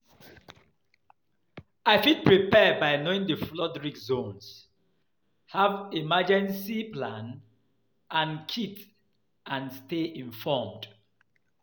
I fit prepare by knowing di flood risk zones, have emergencey plan and kit and stay informed.